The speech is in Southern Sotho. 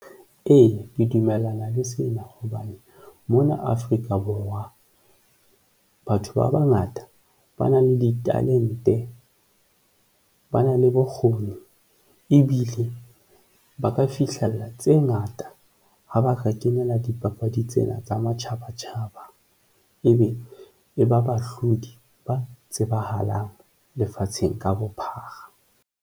E, ke dumellana le sena hobane mona Afrika Borwa batho ba bangata ba na le ditalente, ba na le bokgoni ebile ba ka fihlella tse ngata ha ba kenela dipapadi tsena tsa matjhaba tjhaba ebe e ba bahlodi ba tsebahalang lefatsheng ka bophara.